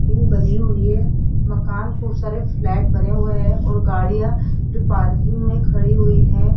बनी हुई है मकान खूब सारे फ्लैट बने हुए हैं और गाड़ियां भी पार्किंग में खड़ी हुई हैं।